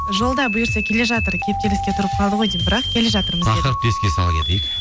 жолда бұйырса келе жатыр кептеліске тұрып қалды ғой деймін бірақ келе жатыр тақырыпты еске сала кетейік